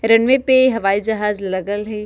रनवे पे हवाई जहाज लगल हेय।